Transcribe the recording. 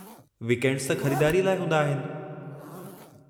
Weekends त ख़रीदारीअ लाइ हूंदा आहिनि!